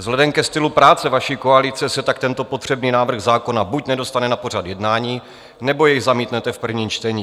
Vzhledem ke stylu práce vaší koalice se tak tento potřebný návrh zákona buď nedostane na pořad jednání, nebo jej zamítnete v prvním čtení.